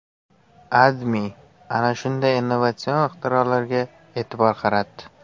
AdMe ana shunday innovatsion ixtirolarga e’tibor qaratdi .